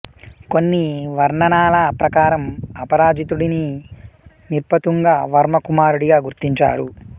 కొన్ని వర్ణనల ప్రకారం అపరాజితుడిని నిర్పతుంగ వర్మ కుమారుడిగా గుర్తించారు